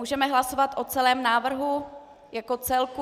Můžeme hlasovat o celém návrhu jako celku?